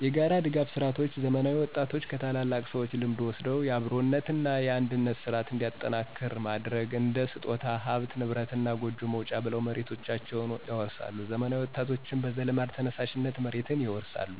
የጋራ ድጋፍ ስርዓቶች ዘመናዊ ወጣቶች ከታላላቅ ሰዎች ልምድ ወስደው የአብሮነት እና አንድነት ስርዓት እንዲጠናከር ማድረግ። እንደ ስጦታ፣ ሀብት ንብረት እና ጎጆ መውጫ ብለው መሬታቸውን ያወርሳሉ ዘመናዊ ወጣቶችም በዘልማድ ተነሳሽነት መሬትን ይወርሳሉ።